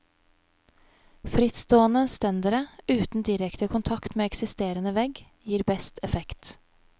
Frittstående stendere uten direkte kontakt med eksisterende vegg gir best effekt.